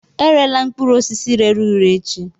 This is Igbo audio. Erela mkpụrụ osisi rere ure echi!